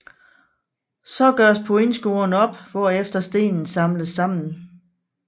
Så gøres pointscoren op hvorefter stenen samles sammen